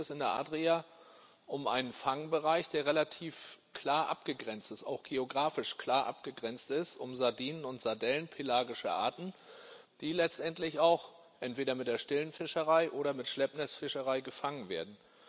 Hier geht es in der Adria um einen Fangbereich, der relativ klar abgegrenzt ist auch geografisch klar abgegrenzt ist um Sardinen und Sardellen, pelagische Arten, die letztendlich auch entweder mit der stillen Fischerei oder mit Schleppnetzfischerei gefangen werden.